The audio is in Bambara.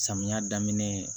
Samiya daminɛ